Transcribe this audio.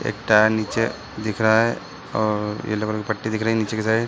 एक टायर निचे दिख रहा है और येलो कलर की पट्टी दिख रही है नीचे की साइड |